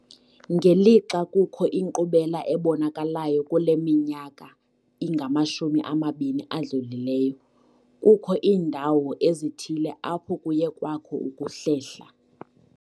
Ngelixa kukho inkqubela ebonakalayo kule minyaka ingamashumi amabini adlulileyo, kukho iindawo ezithile apho kuye kwakho ukuhlehla.